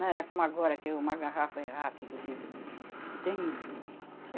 Não era como agora, que uma garrafa é rápido que, que termina.